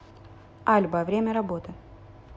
альба время работы